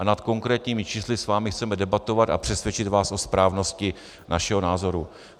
A nad konkrétními čísly s vámi chceme debatovat a přesvědčit vás o správnosti našeho názoru.